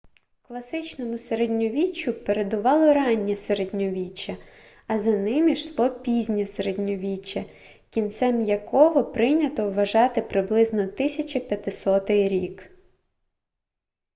класичному середньовіччю передувало раннє середньовіччя а за ним ішло пізнє середньовіччя кінцем якого прийнято вважати приблизно 1500 рік